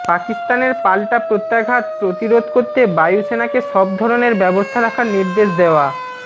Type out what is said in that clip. পাকিস্তানের পাল্টা প্রত্যাঘাত প্রতিরোধ করতে বায়ু সেনাকে সব ধরনের ব্যবস্থা রাখার নির্দেশ দেওয়া